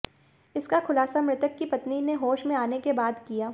इसका खुलासा मृतक की पत्नी ने होश में आने के बाद किया